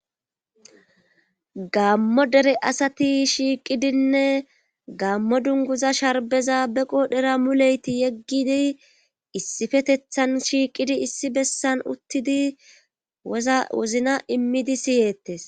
gammo dere asati shiiqidinne gammo dunguza sharbeza beqo dhera muleyti yeggidi issifetethan shiiqidi issi bessan uttidi zawozna immidi siyettes